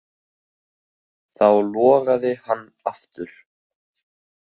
Þá logaði hann aftur.